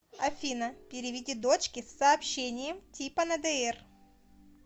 афина переведи дочке с сообщением типа на др